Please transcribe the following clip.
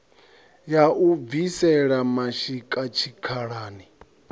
ya u bvisela mashika tshikhalani